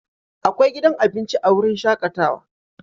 Akwai gidan abinci a wurin shakatawa